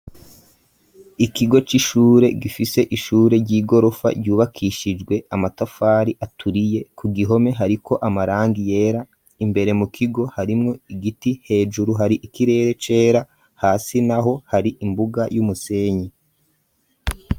Ikigo c'ishure gifise ishure ry'igorofa ryubakishijwe amatafari aturiye ku gihome hariko amarangi yera, imbere mu kigo harimwo igiti, hejuru hari ikirere cera hasi naho hari imbuga y'umusenyi.